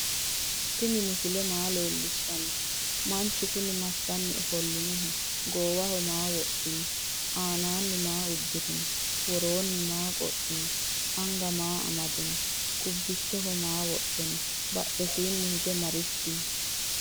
tini misile maa lelishani? manchu kuni masani offolinoho? gowaho maa wodhino? aanani maa udirino? woronni maa qodhino? anga maa amadino? qubicho maa wodhino? badhwsini hige marichi no?